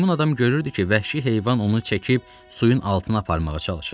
Meymun adam görürdü ki, vəhşi heyvan onu çəkib suyun altına aparmağa çalışır.